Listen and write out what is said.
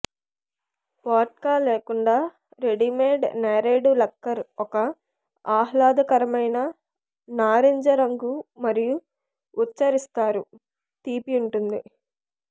vodka లేకుండా readymade నేరేడు లక్కర్ ఒక ఆహ్లాదకరమైన నారింజ రంగు మరియు ఉచ్ఛరిస్తారు తీపి ఉంటుంది